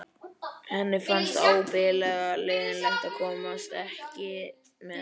Henni fannst ábyggilega leiðinlegt að komast ekki með.